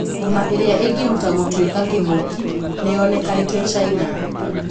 Homa 'iria ingihota gũtwika king'oki' niyonikanite China.